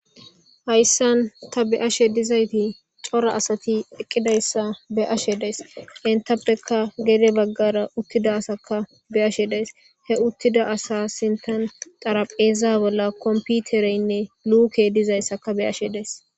Hayissanni taa be'ashshe de'izayyitt cora asati eqidayissa be'ashshe dayis enittappekka gede bagara uttida assakka be'ashshe dayis .hee uttida asa sinththanni xaraphphezza bolla komipitereyinne lukeyi dizayissakka be'ashshe dayis .